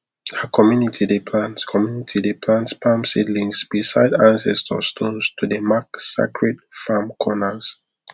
our community dey plant community dey plant palm seedlings beside ancestor stones to dey mark sacred farm corners